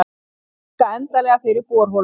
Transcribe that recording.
Loka endanlega fyrir borholuna